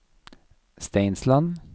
Steinsland